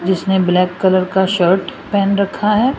जिसने black colour का shirt पहन रखा है।